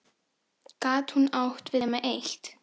Gat hún átt við nema eitt?